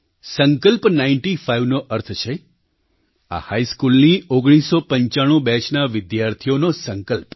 સંકલ્પ નાઇન્ટી ફાઇવનો અર્થ છે આ હાઇસ્કૂલની 1995 બેચના વિદ્યાર્થીઓનો સંકલ્પ